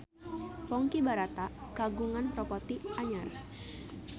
Ponky Brata kagungan properti anyar